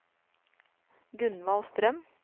Gunvald Strøm